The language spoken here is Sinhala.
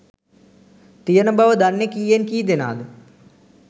තියන බව දන්නේ කීයෙන් කීදෙනාද?